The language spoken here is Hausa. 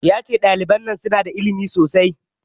Ya ce ɗaliban nan su na da ilimi sosai